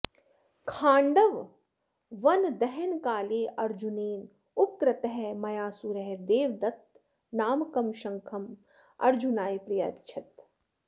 खाण्डववनदहनकाले अर्जुनेन उपकृतः मयासुरः देवदत्तनामकं शङ्खम् अर्जुनाय प्रायच्छत्